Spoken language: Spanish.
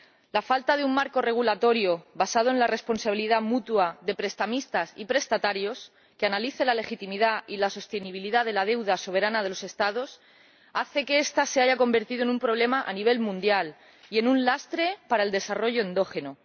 La falta de un marco regulatorio basado en la responsabilidad mutua de prestamistas y prestatarios, que analice la legitimidad y la sostenibilidad de la deuda soberana de los Estados, hace que esta se haya convertido en un problema a nivel mundial y en un lastre para el desarrollo endógeno.